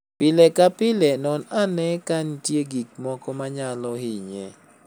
Pile ka pile, non ane ka nitie gik moko manyalo hinye.